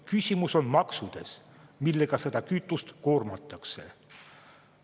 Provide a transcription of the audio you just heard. Küsimus on maksudes, millega seda kütust koormatakse.